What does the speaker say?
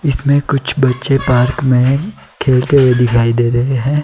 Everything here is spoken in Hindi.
इसमें कुछ बच्चे पार्क में खेलते हुए दिखाई दे रहे हैं।